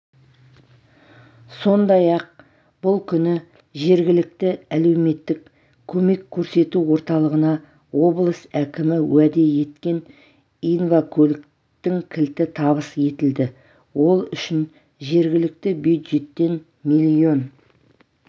сондай-ақ бұл күні жергілікті әлеуметтік көмек көрсету орталығына облыс әкімі уәде еткен инвакөліктің кілті табыс етілді ол үшін жергілікті бюджеттен миллион